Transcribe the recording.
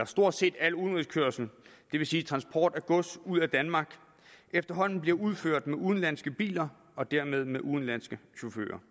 stort set al udenrigskørsel det vil sige transport af gods ud af danmark efterhånden bliver udført med udenlandske biler og dermed med udenlandske chauffører